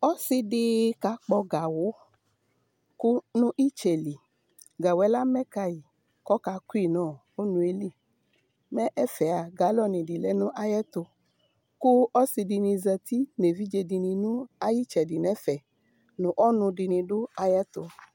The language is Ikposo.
Ɔsɩ dɩ kakpɔ gawʋ nʋ ɩtsɛ li Gawʋ yɛ amɛ ka yɩ kʋ ɔkakʋ yɩ nʋ ɔnʋ yɛ li Mɛ ɛfɛa, galɔnɩ dɩ lɛ nʋ ayɛtʋ kʋ ɔsɩ dɩnɩ zati nʋ evidze dɩnɩ nʋ ayʋ ɩtsɛdɩ nʋ ɛfɛ nʋ ɔnʋ dɩnɩ dʋ ayɛtʋ